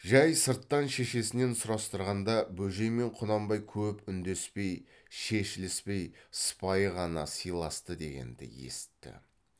жай сырттан шешесінен сұрастырғанда бөжей мен құнанбай көп үндеспей шешіліспей сыпайы ғана сыйласты дегенді есітті